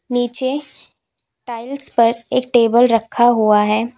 नीचे टाइल्स पर एक टेबल रखा हुआ है।